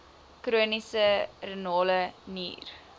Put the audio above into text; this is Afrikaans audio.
chroniese renale nier